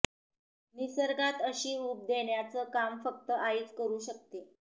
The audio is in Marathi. निसर्गात अशी ऊब देण्याचं काम फक्त आईच करू शकते